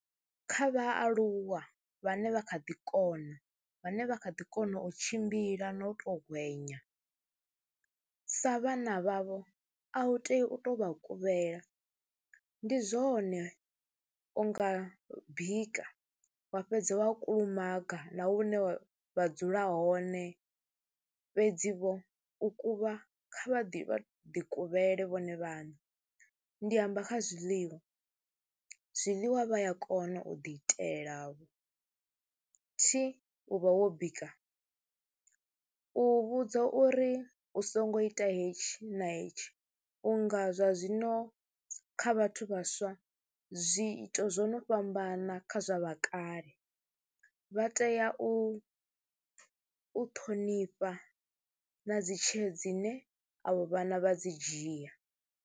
Kha vhaaluwa vhane vha kha ḓi kona, vhane vha kha ḓi kona u tshimbila na u tou hwenya, sa vhana vhavho a u tei u tou vha kuvhela, ndi zwone u nga bika wa fhedza wa kulumaga na hune wa vha dzula hone fhedzivho u kuvha, kha vha ḓi vha ḓi kuvhule vhone vhaṋe. Ndi amba kha zwiḽiwa zwiḽiwa vha ya kona u ḓiitelavho, thi u vha wo bika. U vhudzwa uri u songo ita hetshi na hetshi u nga zwa zwino kha vhathu vhaswa, zwiito zwo no fhambana kha zwa vha kale. Vha tea u ṱhonifha na dzi tsheo dzine avho vhana vha dzi dzhia.